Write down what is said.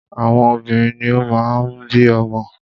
Àwọn obìnrin ni o máa ń bí ọmọ.